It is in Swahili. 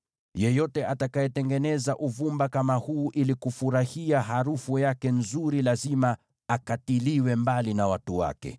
Yeyote atakayetengeneza uvumba kama huu ili kufurahia harufu yake nzuri lazima akatiliwe mbali na watu wake.”